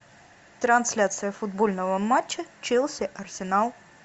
трансляция футбольного матча челси арсенал